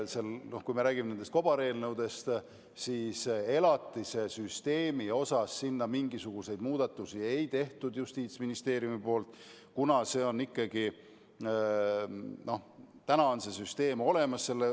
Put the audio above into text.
Kui räägime nendest kobareelnõudest, siis elatise süsteemi kohta Justiitsministeerium sinna mingisuguseid muudatusi ei teinud, kuna täna on see süsteem olemas.